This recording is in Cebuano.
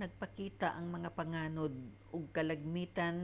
nagpakita ang mga panganod og kalagmitan